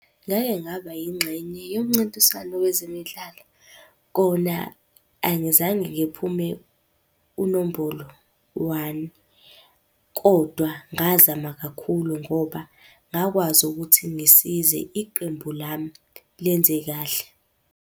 Ngake ngaba yingxenye yomncintiswano wezemidlalo. Kona angizange ngiphume unombolo one, kodwa ngazama kakhulu ngoba ngakwazi ukuthi ngisize iqembu lami lenze kahle.